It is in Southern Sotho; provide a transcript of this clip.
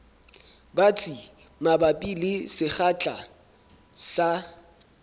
batsi mabapi le sekgahla sa